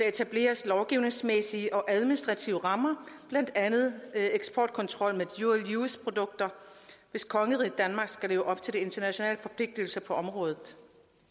etableres lovgivningsmæssige og administrative rammer blandt andet eksportkontrol med dual use produkter hvis kongeriget danmark skal leve op til de internationale forpligtelser på området